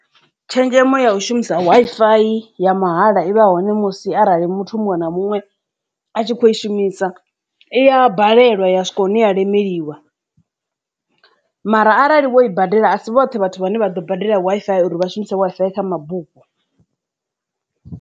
Tshenzhemo ya u shumisa Wi-Fi ya mahala i vha hone musi arali muthu muṅwe na muṅwe a tshi kho i shumisa iya balelwa ya swika hune ya lemeliwa mara arali vho i badela asi vhoṱhe vhathu vhane vha ḓo badela Wi-Fi uri vha shumise Wi-Fi ya kha mabufho.